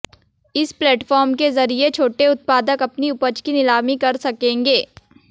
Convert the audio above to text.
इस प्लेटफॉर्म के जरिये छोटे उत्पादक अपनी उपज की नीलामी कर सकेंगे